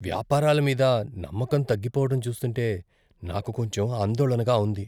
వ్యాపారాలమీద నమ్మకం తగ్గిపోవటం చూస్తుంటే నాకు కొంచెం ఆందోళనగా ఉంది.